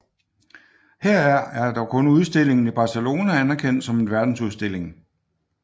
Heraf er dog kun udstillingen i Barcelona anerkendt som en verdensudstilling